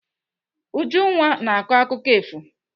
Ujunwa na-akọ akụkọ efu.